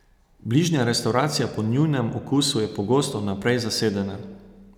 Bližnja restavracija po njunem okusu je pogosto vnaprej zasedena.